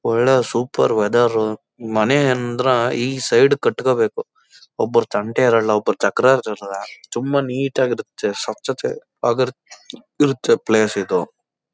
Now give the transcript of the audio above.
ಒಳ್ಳೆ super weather ಮನೆ ಅಂದ್ರ ಈ ಸೈಡ್ ಕಟ್ಕೋಬೇಕು ಒಬ್ರ ತಂಟೆ ಇರಲ್ಲ ಒಬ್ರ ತಕರಾರಿರಲ್ಲ ತುಂಬ ನೀಟಾಗಿರತ್ತೆ ಸ್ವಚ್ಚತೆ ಆ ಇರತ್ತೆ ಪ್ಲೇಸ್ ಇದು.